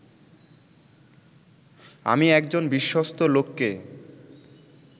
আমি একজন বিশ্বস্ত লোককে